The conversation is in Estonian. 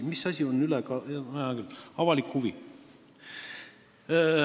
Hea küll, avalik huvi.